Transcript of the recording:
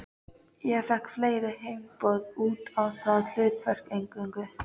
Ég fékk fleiri heimboð út á það hlutverk eingöngu.